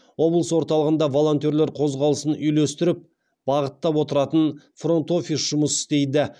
облыс орталығында волонтерлер қозғалысын үйлестіріп бағыттап отыратын фронт офис жұмыс істейді